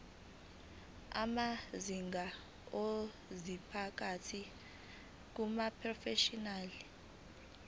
amazinga okuziphatha kumaprofeshinali